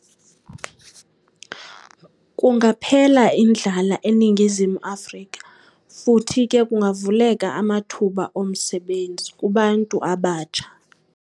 Kungaphela indlala eNingizimu Afrika futhi ke kungavuleka amathuba omsebenzi kubantu abatsha.